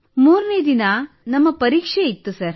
ಮೂರನೆ ದಿನ ಸರ್ ನಮ್ಮ ಪರೀಕ್ಷೆ ಇತ್ತು ಸರ್